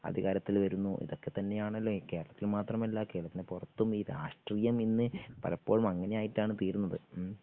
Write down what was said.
അധികാരത്തിൽ വരുന്നു ഇതൊക്കെ തന്നെയാണല്ലോ കേരളത്തിൽ മാത്രമല്ല കേരളത്തിന് പുറത്തും ഈ രാഷ്ട്രീയമിന്ന് പലപ്പോഴും അങ്ങനെയായിട്ടാണ് തീരുന്നത് ഉം